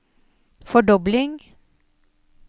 fordobling